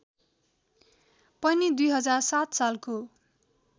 पनि २००७ सालको